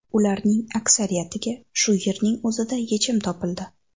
Ularning aksariyatiga shu yerning o‘zida yechim topildi.